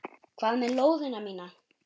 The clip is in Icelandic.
Hvað með lóðina mína!